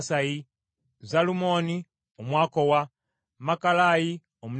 Zalumoni Omwakowa, Makalayi Omunetofa,